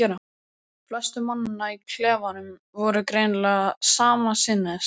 Flestir mannanna í klefanum voru greinilega sama sinnis og